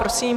Prosím.